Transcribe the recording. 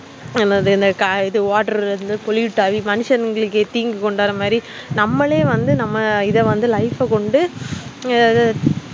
எனதுன்னது water ல இருந்து கல் மனுஷங்கள்தீங்கு கொண்டுவர மாதிரிநம்மாலே வந்து நம்மல life அஹ் கொண்டு